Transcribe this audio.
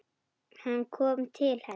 Hann kom til hennar.